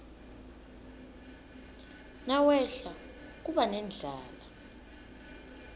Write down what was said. nawehla kuba nendlala